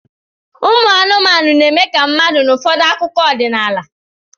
Ụmụ anụmanụ na-eme ka mmadụ n'ụfọdụ akụkọ ọdịnala